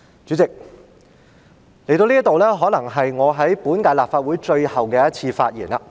主席，到了這一刻，可能是我在本屆立法會的最後一次發言。